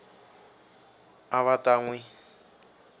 a va ta n wi